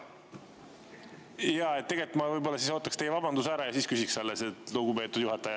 Jaa, tegelikult ma võib‑olla ootaks teie vabanduse ära ja alles siis küsiks, lugupeetud juhataja.